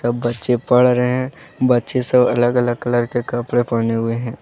बच्चे पढ़ रहे हैं बच्चे सब अलग अलग कलर के कपड़े पहने हुए हैं।